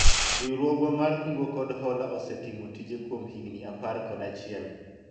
riwruogwa mar kungo kod hola osetimo tije kuom higni apr kod achiel